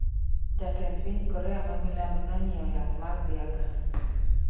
Jatend piny Korea ma milambo nonyiewo yath mag Viagra